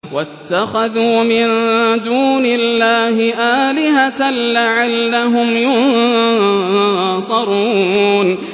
وَاتَّخَذُوا مِن دُونِ اللَّهِ آلِهَةً لَّعَلَّهُمْ يُنصَرُونَ